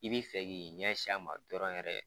I b'i fɛ k'i ɲɛ sin a ma dɔrɔn yɛrɛ